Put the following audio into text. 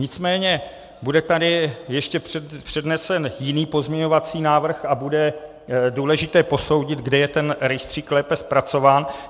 Nicméně bude tady ještě přednesen jiný pozměňovací návrh a bude důležité posoudit, kde je ten rejstřík lépe zpracován.